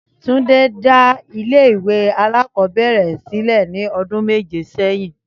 Túndé dá ilé ìwé alákọ̀ọ́bẹ̀rẹ̀ rẹ̀ sílẹ̀ ní ọdún méje sẹ́yìn